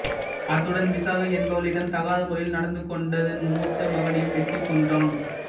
அத்துடன் விசாகை என்பவளிடம் தகாத முறையில் நடந்துகொண்ட தன் மூத்த மகனையும் வெட்டிக் கொன்றான்